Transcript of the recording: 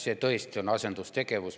See tõesti on asendustegevus.